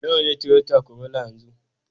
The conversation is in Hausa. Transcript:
Nawa ne Toyota Corolla yanzu